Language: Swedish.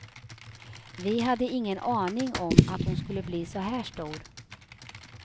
Vi hade ingen aning om att hon skulle bli så här stor.